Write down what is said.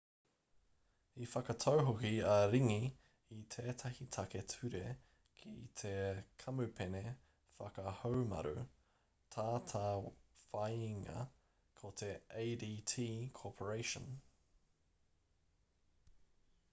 i whakatau hoki a ring i tētahi take ture ki te kamupene whakahaumaru tātāwhāinga ko te adt corporation